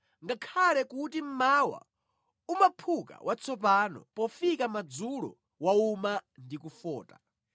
ngakhale kuti mmawa umaphuka watsopano, pofika madzulo wauma ndi kufota.